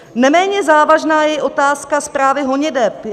Neméně závažná je i otázka správy honiteb.